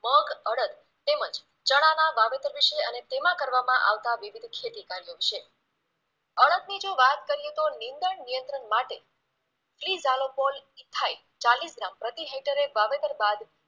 મગ અડદ તેમજ ચણાના વાવેતર વિશે અને તેમાંં કરવામાં આવતા વિવિધ ખેતી ઉપાયો વિશે અડદની જો વાત કરીએ તો નિંદણ નિયંત્રણ માટે ક્લિઝાલોપોલ ઈથાઈલ ચાલીસ ગ્રામ પ્રતિ હેક્ટરે વાવેતર બાદ